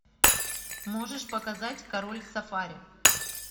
можешь показать король сафари